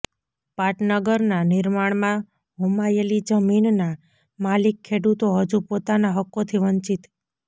પાટનગરના નિર્માણમાં હોમાયેલી જમીનના માલિક ખેડૂતો હજુ પોતાના હક્કોથી વંચિત